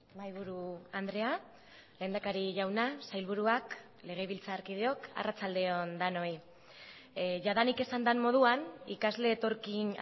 mahaiburu andrea lehendakari jauna sailburuak legebiltzarkideok arratsalde on denoi jadanik esan den moduan ikasle etorkin